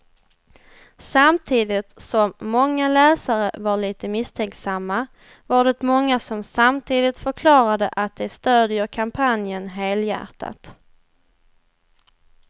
Samtidigt som många läsare var lite misstänksamma var det många som samtidigt förklarade att de stödjer kampanjen helhjärtat.